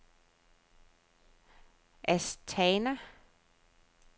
Astana